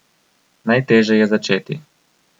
Najteže je začeti.